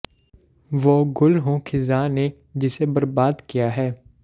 ਵੋ ਗੁਲ ਹੂੰ ਖ਼ਿਜ਼ਾਂ ਨੇ ਜਿਸੇ ਬਰਬਾਦ ਕਿਯਾ ਹੈ